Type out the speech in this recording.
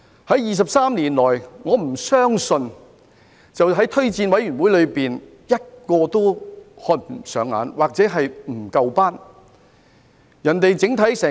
在23年來，我不相信推薦委員會連一個人選都看不上眼，又或認為不夠資格。